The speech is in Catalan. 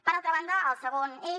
per altra banda el segon eix